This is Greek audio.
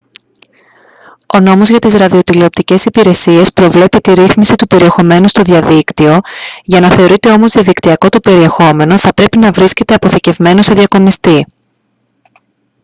ο νόμος για τις ραδιοτηλεοπτικές υπηρεσίες προβλέπει τη ρύθμιση του περιεχομένου στο διαδίκτυο για να θεωρείται όμως διαδικτυακό το περιεχόμενο θα πρέπει να βρίσκεται αποθηκευμένο σε διακομιστή